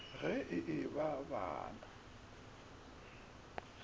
ge e ba ba na